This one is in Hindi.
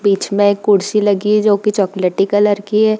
बीच मे कुर्सी लगी है जो की चॉकलेटी कलर की है।